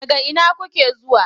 Daga ina kuke zuwa?